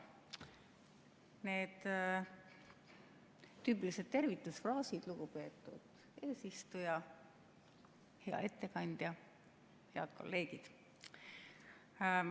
Need tüüpilised tervitusfraasid: lugupeetud eesistuja, hea ettekandja, head kolleegid!